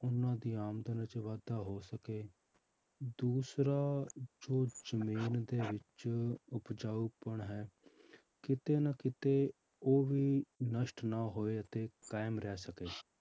ਉਹਨਾਂ ਦੀ ਆਮਦਨ ਵਿੱਚ ਵਾਧਾ ਹੋ ਸਕੇ, ਦੂਸਰਾ ਜੋ ਜ਼ਮੀਨ ਦੇ ਵਿੱਚ ਉਪਜਾਊਪਣ ਹੈ ਕਿਤੇ ਨਾ ਕਿਤੇ ਉਹ ਵੀ ਨਸ਼ਟ ਨਾ ਹੋਵੇ ਅਤੇ ਕਾਇਮ ਰਹਿ ਸਕੇ